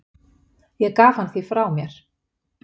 Ég gaf hann því frá mér.